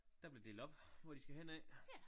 Der blev delt op hvor de skal hen af